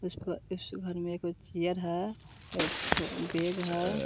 इस घ इस घर में कुछ चेयर है एक ठो बैग है।